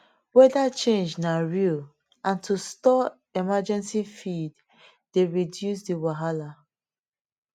weather change na real and to store emergency feed dey reduce the wahala